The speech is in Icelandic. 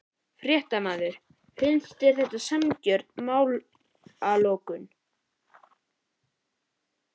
Fréttamaður: Finnst þér þetta sanngjörn málalok?